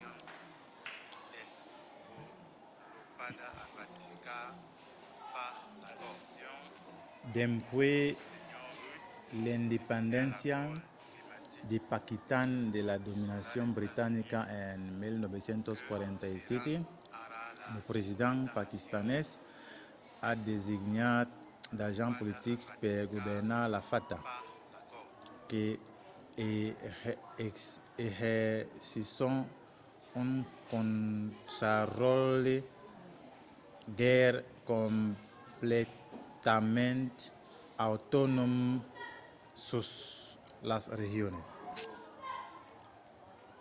dempuèi l'independéncia de paquitan de la dominacion britanica en 1947 lo president paquistanés a designat d'agents politics per governar la fata que exercisson un contraròtle gaire completament autonòm sus las regions